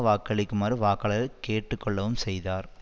வாக்களிக்குமாறு வாக்காளர்களை கேட்டு கொள்ளவும் செய்தார்